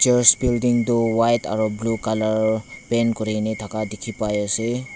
church building tu buka aro blue colour paint kurina thaka dikhi pai ase.